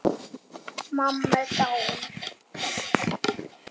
Mamma er dáin.